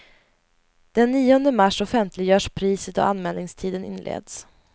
Den nionde mars offentliggörs priset och anmälningstiden inleds.